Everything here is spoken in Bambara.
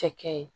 Cɛkɛ ye